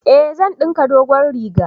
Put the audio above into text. Eh, zan dinka dogon riga